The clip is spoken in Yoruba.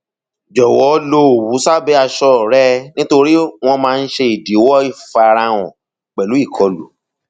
jọwọ lo òwu sábẹ aṣọ rẹ nitori wọn máa ń ṣe idiwọ ifarahan pẹlu ìkọlù